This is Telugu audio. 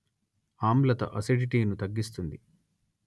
ఆమ్లతఅసిడిటీ ను తగ్గిస్తుంది